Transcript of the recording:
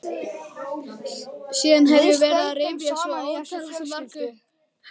Síðan hef ég verið að rifja svo ótalmargt upp.